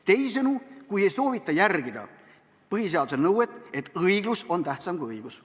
Teisisõnu, kui ei soovita järgida põhiseaduse nõuet, et õiglus on tähtsam kui õigus.